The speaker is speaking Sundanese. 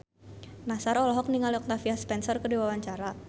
Nassar olohok ningali Octavia Spencer keur diwawancara